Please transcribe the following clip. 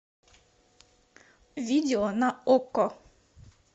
видео на окко